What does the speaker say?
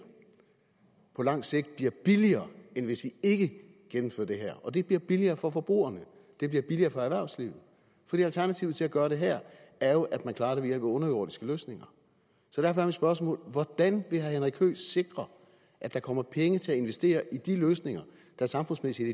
på langt sigt bliver billigere end hvis vi ikke gennemfører det her det bliver billigere for forbrugerne det bliver billigere for erhvervslivet for alternativet til at gøre det her er jo at man klarer det via underjordiske løsninger så derfor er mit spørgsmål hvordan vil herre henrik høegh sikre at der kommer penge til at investere i de løsninger der samfundsmæssigt